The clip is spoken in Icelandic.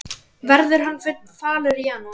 Verður hann falur í janúar?